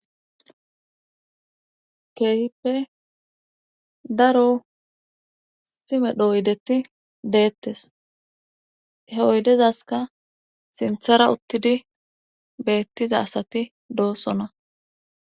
Keehippe daro simedhoydeti deettes he oydezaska sinthara uttidi beettiza asati doossona.